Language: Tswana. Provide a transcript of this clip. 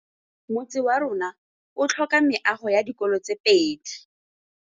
Motse warona o tlhoka meago ya dikolô tse pedi.